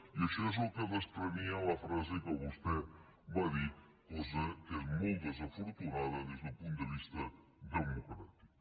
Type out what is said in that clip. i això és el que desprenia la frase que vostè va dir cosa que és molt desafortunada des d’un punt de vista democràtic